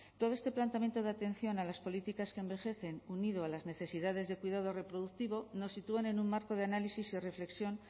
todo este planteamiento de atención a las políticas que envejecen unido a las necesidades de cuidado reproductivo nos sitúan en un marco de análisis y reflexión